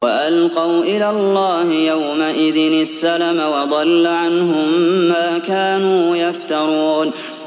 وَأَلْقَوْا إِلَى اللَّهِ يَوْمَئِذٍ السَّلَمَ ۖ وَضَلَّ عَنْهُم مَّا كَانُوا يَفْتَرُونَ